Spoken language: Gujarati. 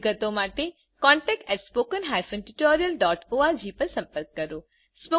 વધુ વિગત માટે કૃપા કરી contactspoken tutorialorg પર સંપર્ક કરો